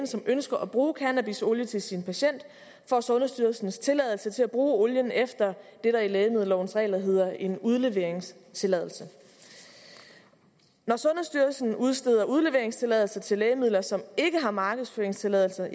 som ønsker at bruge cannabisolie til sin patient får sundhedsstyrelsens tilladelse til at bruge olien efter det der i lægemiddellovensregler hedder en udleveringstilladelse når sundhedsstyrelsen udsteder udleveringstilladelser til lægemidler som ikke har markedsføringstilladelse